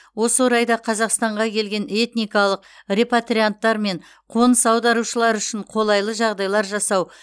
осы орайда қазақстанға келген этникалық репатрианттар мен қоныс аударушылар үшін қолайлы жағдайлар жасау